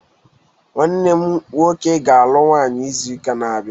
Nwanne m nwọke ga- alụ nwaanyi ịzu-ụka n'abia